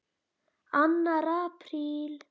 ANNAR APRÍL